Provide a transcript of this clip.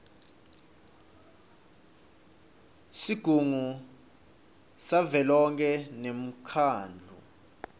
sigungu savelonkhe nemkhandlu